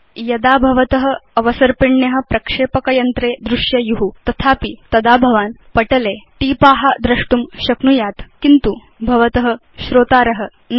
यदा भवत अवसर्पिण्य प्रक्षेपकयन्त्रे दृश्येयु तथापि तदा भवान् भवत पटले भवदीय टीपा द्रष्टुं शक्नुयात् किन्तु भवत श्रोतार न